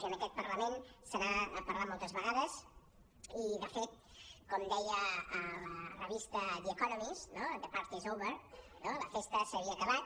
i en aquest parlament se n’ha parlat moltes vegades i de fet com deia la revista the ecomomist no the party is over la festa s’ha acabat